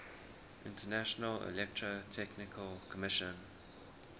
international electrotechnical commission